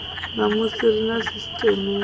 ṋamusi ri na sisteme ya